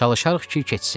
Çalışarıq ki, keçsin.